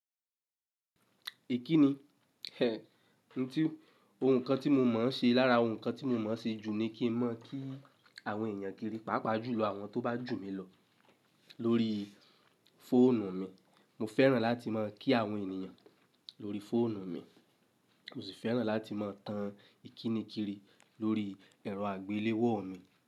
Ikinni eh, ohun kan tí mo mọ̀ ń ṣe lára ohun kan tí mo mọ̀ ṣe jù ni kí n mọ kí àwọn èèyàn kiri pàápàá jùlọ àwọn tó bá jù mí lọ lórí fóònù mi. Mo fẹ́ràn láti mọ kí àwọn ènìyàn lórí fóònù mi, mo sì fẹ́ràn láti mọ tan ìkínikíni lórí ẹ̀rọ àgbéléwò mi.